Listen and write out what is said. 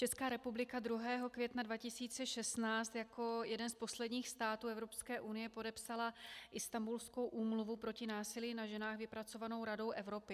Česká republika 2. května 2016 jako jeden z posledních států Evropské unie podepsala Istanbulskou úmluvu proti násilí na ženách, vypracovanou Radou Evropy.